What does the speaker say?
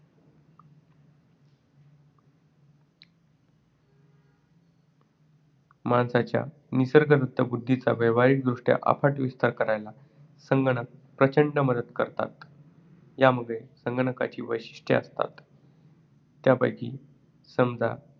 माणसाच्या निसर्गदत्त बुद्धीचा व्यावहारिक दृष्ट्या अफाट विस्तार करायला संगणक प्रचंड मदत करू शकतात. ह्यामागे संगणकाची दोन वैशिष्ट्ये आहेत ती अशी त्यांपैकी समजा